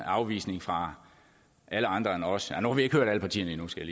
afvisning fra alle andre end os ja nu har vi ikke hørt alle partierne endnu skal